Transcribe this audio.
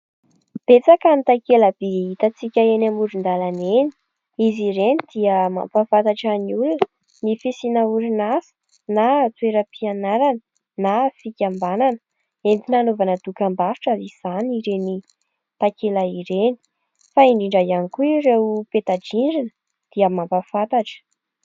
Betsaka ny takela-by hitantsika eny amoron-dalana eny. Izy ireny dia mampafantatra ny olona ny fisian'ny orinasa, na toeram-pianarana, na fikambanana entina hanaovana dokam-barotra. Izany ireny takelaka ireny fa indrindra ihany koa ireo peta-drindrina dia mampafantatra.